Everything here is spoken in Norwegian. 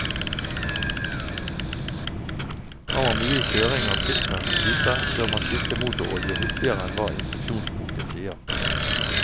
Har man mye kjøring av sistnevnte type, bør man skifte motorolje hyppigere enn hva instruksjonsboken sier.